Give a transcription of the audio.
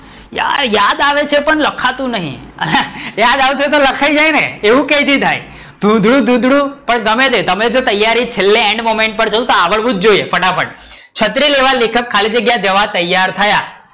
યાર યાદ આવે છે પણ લખાતું નથી, યાદ આવશે તો લખાય જાય ને એવું કઈ થી થાય, ધુંધળું ધુંધળું, પણ ગમે તે તમે જો તૈયારી છેલ્લે એન્ડ moment પર જોઉં તો તમને આવડવું જ જોઈએ ફટાફટ, છત્રી લેવા લેખક ખાલી જગ્યા જવા તૈયાર થયા.